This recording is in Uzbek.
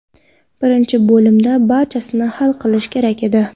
Birinchi bo‘limda barchasini hal qilish kerak edi.